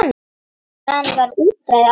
Þaðan var útræði áður fyrr.